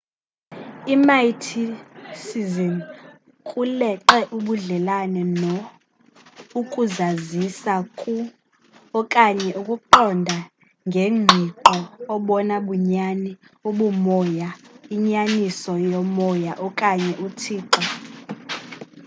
imysticism kuleqe ubudlelane no ukuzazisa ku okanye ukuqonda ngengqiqo obona bunyani ubumoya inyaniso yokomoya okanye uthixo